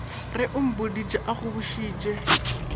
re o mpoditše a nkgobošitše